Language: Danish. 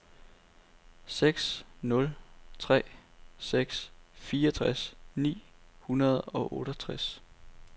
seks nul tre seks fireogtres ni hundrede og otteogtres